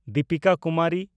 Dipika Kumari